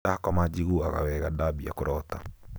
ndakoma njiguaga wega ndabia kũrota